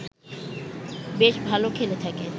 বেশ ভাল খেলে থাকে